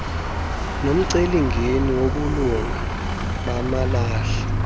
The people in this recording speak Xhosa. nomcelimngeni wobulunga bamalahle